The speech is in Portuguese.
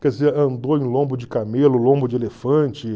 Quer dizer, andou em lombo de camelo, lombo de elefante.